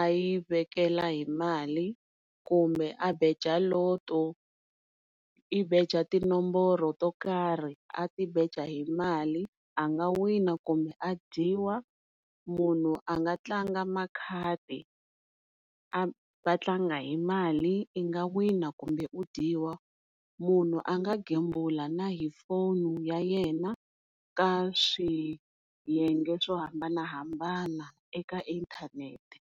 a yi vekela hi mali kumbe a beja Lotto i beja tinomboro to karhi a ti beja hi mali a nga wina kumbe a dyiwa, munhu a nga tlanga makhadi a va tlanga hi mali i nga wina kumbe i dyiwa, munhu a nga gembula na hi foni ya yena ka swiyenge swo hambanahambana eka inthanete.